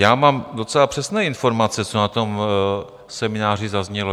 Já mám docela přesné informace, co na tom semináři zaznělo.